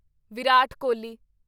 Virat Kohli